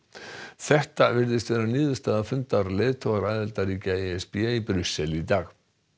þetta virðist vera niðurstaða fundar leiðtoga aðildarríkja e s b í Brussel í dag